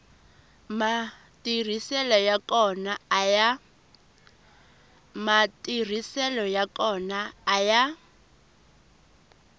matirhiselo ya kona a ya